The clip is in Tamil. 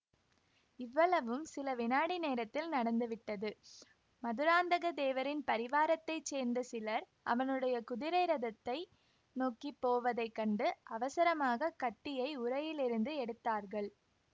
இவ்வளவும் சில வினாடி நேரத்தில் நடந்துவிட்டது மதுராந்தகத்தேவரின் பரிவாரத்தைச் சேர்ந்த சிலர் அவனுடைய குதிரை ரதத்தை நோக்கி போவதை கண்டு அவசரமாக கத்தியை உறையிலிருந்து எடுத்தார்கள்